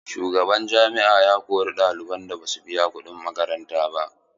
Shugaban jami'a ya kori ɗaliban da basu biya kuɗin makaranta ba.